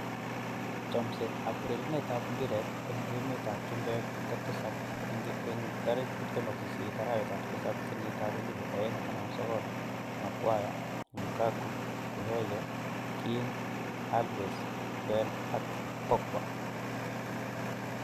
Chomset ab urerenet ab mbiret eng emet ab chumbek kotisap 28.07.2019: Maguire, Lukaku, Gueye, Kean, Alves, Bale, Pogba